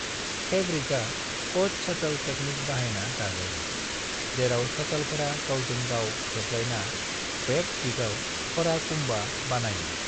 फैब्रिकआ 'cut shuttle तकनीक' बाहायना दाजायो, जेराव शटलफोरा गावजों गाव हेबलायना वेप्त दिगाव फोड़ा कुंभा बानायो।